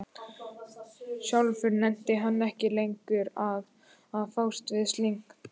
Sjálfur nennti hann ekki lengur að fást við slíkt.